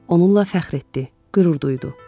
Onunla fəxr etdi, qürur duydu.